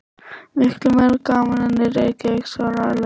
Miklu meira gaman en í Reykjavík svaraði Lilla.